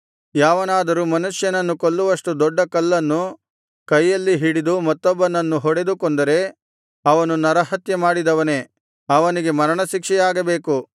ಯಾವನಾದರೂ ಮನುಷ್ಯನನ್ನು ಕೊಲ್ಲುವಷ್ಟು ದೊಡ್ಡ ಕಲ್ಲನ್ನು ಕೈಯಲ್ಲಿ ಹಿಡಿದು ಮತ್ತೊಬ್ಬನನ್ನು ಹೊಡೆದು ಕೊಂದರೆ ಅವನು ನರಹತ್ಯೆ ಮಾಡಿದವನೇ ಅವನಿಗೆ ಮರಣಶಿಕ್ಷೆಯಾಗಬೇಕು